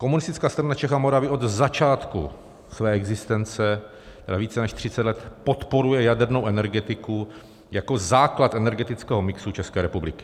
Komunistická strana Čech a Moravy od začátku své existence, tedy více než 30 let, podporuje jadernou energetiku jako základ energetického mixu České republiky.